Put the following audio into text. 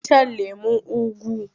Za ki iya shan lemon ugu?